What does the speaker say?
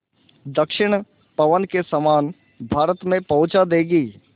दक्षिण पवन के समान भारत में पहुँचा देंगी